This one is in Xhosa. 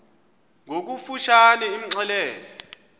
ngokofu tshane imxelele